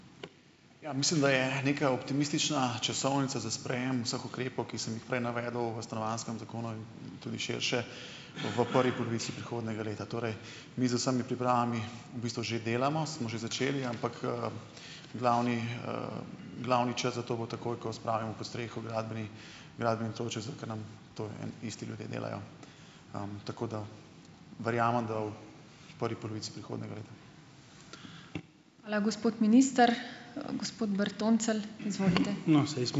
Ja, mislim, da je neka optimistična časovnica za sprejem vseh ukrepov, ki sem jih prej navedel v stanovanjskem zakonu in tudi širše, v prvi polovici prihodnjega leta. Torej mi z vsemi pripravami v bistvu že delamo, smo že začeli, ampak, glavni, glavni čas za to bo takoj, ko spravimo pod streho gradbeni, to eni isti ljudje delajo. Tako da verjamem, da v prvi polovici prihodnjega leta.